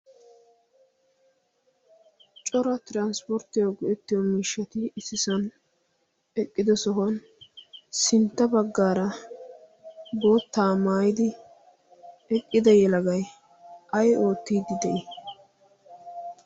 cora tiranspporttiyo go''ettiyo miishshati issisan eqqido sohuwan sintta baggaara boottaa maayidi eqqida yelagai ay oottiiddi de'i